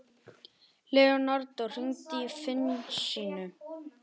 Leonardo, hringdu í Finnsínu.